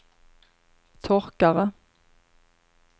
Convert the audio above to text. torkare